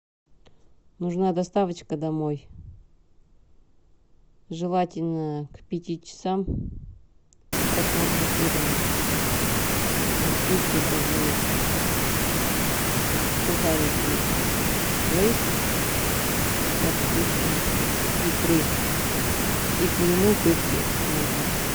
нужна доставочка домой желательно к пяти часам к просмотру фильма пусть это будут сухарики лейс со вкусом икры и к нему пепси можно